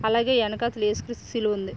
అలాగే వెనక తల ఏసుక్రీస్తు సిలువ ఉంది.